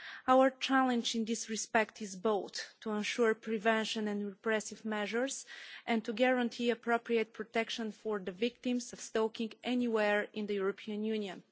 Our challenge in this respect is both to ensure prevention and repressive measures and to guarantee appropriate protection for the victims of stalking anywhere in the European Union.